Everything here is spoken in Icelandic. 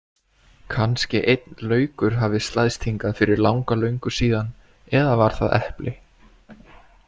Kannski einn laukur hafi slæðst hingað fyrir langa löngu síðan eða var það epli.